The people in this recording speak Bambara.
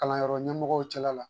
Kalanyɔrɔ ɲɛmɔgɔw cɛla la.